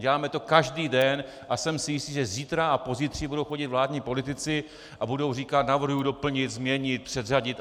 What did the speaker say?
Děláme to každý den a jsem si jistý, že zítra a pozítří budou chodit vládní politici a budou říkat: navrhuji doplnit, změnit, předřadit.